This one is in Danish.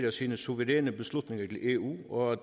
af sine suveræne beslutninger til eu og at